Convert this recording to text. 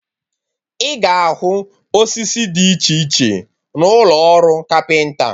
Ị ga ahụ osisi Did iche iche na ụlọ ọrụ kapịnta